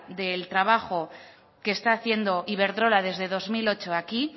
del trabajo que está haciendo iberdrola desde dos mil ocho aquí